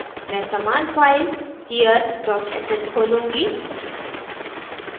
मैं समान file here dot sh खोलूँगी